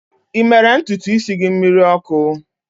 Ị mere ntutu isi gị mmiri ọkụ?